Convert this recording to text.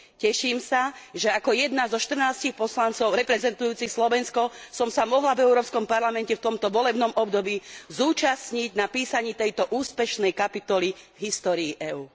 Teším sa, že ako jedna zo 14 poslancov reprezentujúcich Slovensko som sa mohla v Európskom parlamente v tomto volebnom období zúčastniť na písaní tejto úspešnej kapitoly v histórii EÚ.